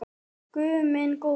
Guð minn góður!